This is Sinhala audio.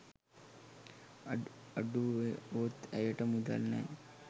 අඩුවුණොත් ඇයට මුදල් නෑ.